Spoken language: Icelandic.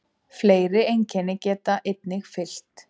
Fleiri einkenni geta einnig fylgt.